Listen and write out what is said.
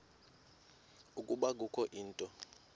ukuba kukho into